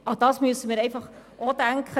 Daran muss auch gedacht werden: